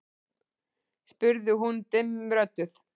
spurði hún dimmrödduð.